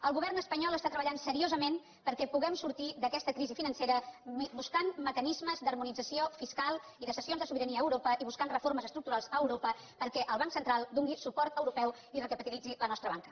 el govern espanyol treballa seriosament perquè puguem sortir d’aquesta crisi financera buscant mecanismes d’harmonització fiscal i de cessions de sobirania a europa i buscant reformes estructurals a europa perquè el banc central doni suport europeu i recapitalitzi la nostra banca